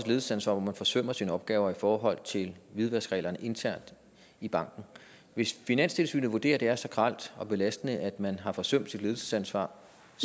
ledelsesansvar hvor man forsømmer sine opgaver i forhold til hvidvaskreglerne internt i banken hvis finanstilsynet vurderer at det er så grelt og belastende man har forsømt sit ledelsesansvar